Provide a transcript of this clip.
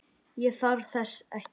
Ég þarf þess ekki.